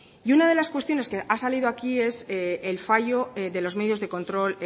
y una de las cuestiones que han salido aquí es el fallo de los medios de control